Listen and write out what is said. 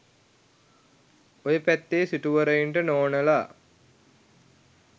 ඔය පැත්තේ සිටුවරයින්ට නෝනලා